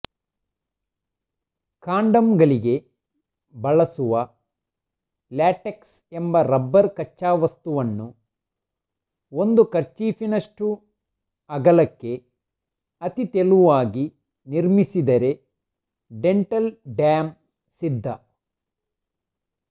ಕಾಂಡಮ್ಮುಗಳಿಗೆ ಬಳಸುವ ಲ್ಯಾಟೆಕ್ಸ್ ಎಂಬ ರಬ್ಬರ್ ಕಚ್ಚಾವಸ್ತುವನ್ನು ಒಂದು ಕರ್ಚೀಫಿನಷ್ಟು ಅಗಲಕ್ಕೆ ಅತಿ ತೆಳುವಾಗಿ ನಿರ್ಮಿಸಿದರೆ ಡೆಂಟಲ್ ಡ್ಯಾಂ ಸಿದ್ಧ